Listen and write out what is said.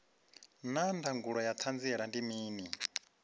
naa ndangulo ya hanziela ndi mini